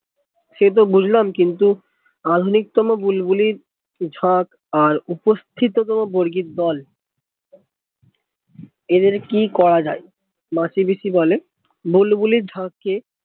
সে তো বুঝলাম কিন্তু আধুনিকতম বুলবুলি ঝাঁক আর উপস্থিত কোনো বর্গীর দল এদের কি করা যাবে মাসি পিসি বলে বুলবুলি ঝাঁক কে